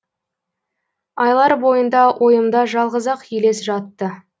айлар бойында ойымда жалғыз ақ елес жатты